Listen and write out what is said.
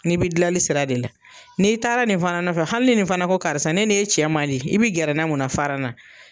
Ni bɛ dilanli sira de la ni taara nin fana nɔfɛ hali nin fana ko karisa ne nin e cɛ mandi i bɛ gɛrɛna munna fara na.